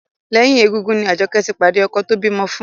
Lẹ́yìn égúngún ni Àjọkẹ́ ti pàdé ọkọ tó bímọ fún